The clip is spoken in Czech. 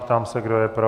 Ptám se, kdo je pro.